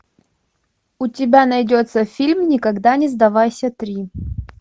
у тебя найдется фильм никогда не сдавайся три